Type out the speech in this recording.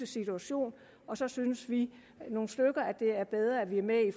situation og så synes vi nogle stykker at det er bedre at vi er med i